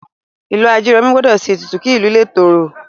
Ìlú Ajeromi gbọ́dọ̀ ṣe ètùtù kí ìlú lè tòrò